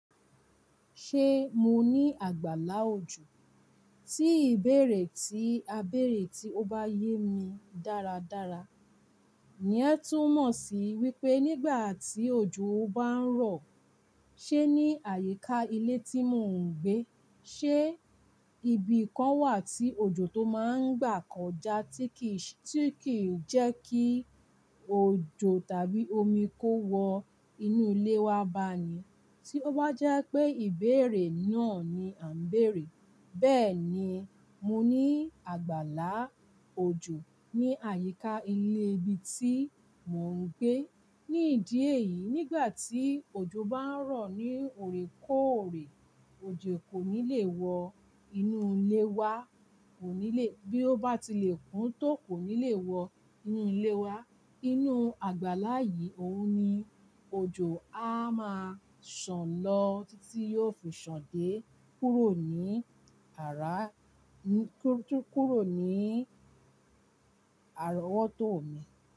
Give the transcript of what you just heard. Ṣé mo ní àgbàlá òjò? Tí ìbéèrè tí a bèèrè tí ó bá yé mi dáradára, ìyẹn tù mọ̀ sí wípé nígbà tí òjò bá ń rọ̀, ṣe ní àyíká ilé tí mò ń gbé, ṣe ibi kan wà tí òjò tó máa ń gbà kọjá tí kìí s tí kì í jẹ́ kí òjò tàbí omi kó wọ inú ilé wa ba ni? Tí ó bá jẹ́ pé ìbéèrè náà ni a ń bèèrè. Bẹ́ẹ̀ni, mo ní àgbàlá òjò ní àyíká ilé ibi tí mò ń gbé. Ní ìdí èyí, nígbà tí òjò bá ń rọ̀ ní òrèkóòrè, òjò kò ní lè wọ inú ilé wa, kò ní lè. Bí ó bá ti lè kún tó kò ní lè wọ inú ilé wa. Inú àgbàlá yìí, òun ni òjò á máa sàn lọ títí yíò fi sàn dé kúrò ní àra--ní kò jù kúrò ní àrọ́wọ́tó mi.